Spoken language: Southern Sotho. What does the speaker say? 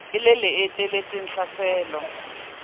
e le le etelletseng tlhaselo